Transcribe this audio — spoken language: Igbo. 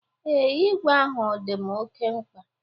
Ee, igwe ahụ dị m oke mkpa.